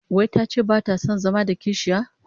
Wai tace bata son zama da kishiya?